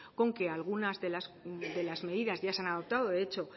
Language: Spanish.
con que algunas de las medidas ya se han adoptado de hecho